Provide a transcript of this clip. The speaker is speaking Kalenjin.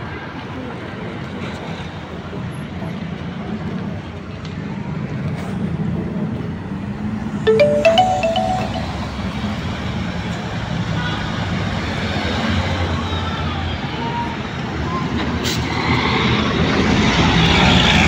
Mi konyil chenchang' : Eagle10, Kenya Korongo, Kenya Kingbird, Njoro BW2, Kenya Wren, Robin, Kenya Hawk12, Kenya Tai, Kenya Sunbird, Kenya Kwal ak Du ma.